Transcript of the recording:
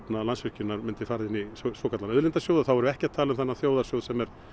Landsvirkjunar myndi fara inn í svokallaðan auðlindasjóð og þá erum við ekki að tala um þennan þjóðarsjóð